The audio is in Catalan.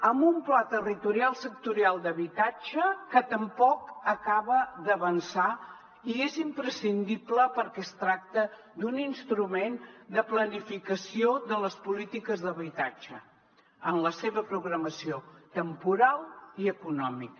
amb un pla territorial sectorial d’habitatge que tampoc acaba d’avançar i és imprescindible perquè es tracta d’un instrument de planificació de les polítiques d’habitatge en la seva programació temporal i econòmica